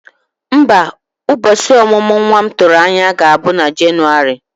Mba, ụbọchị omumu nwa m tụrụ anya ga-abụ na Jenụwarị.